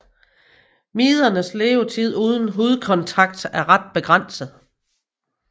Midernes levetid uden hudkontakt er ret begrænset